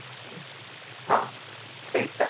ହଁ ସେଇଟା